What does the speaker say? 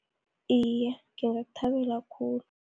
Iye, ngingakthabela khulu.